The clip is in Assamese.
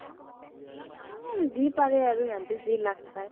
যি পাৰে আৰু সেহেতে যি লাগ পাই